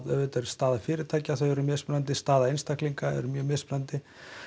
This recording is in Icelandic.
auðvitað er staða fyrirtækja mismunandi staða einstaklinga er mjög mismunandi